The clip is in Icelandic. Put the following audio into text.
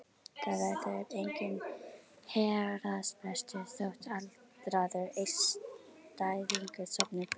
Það verður enginn héraðsbrestur þótt aldraður einstæðingur sofni burt.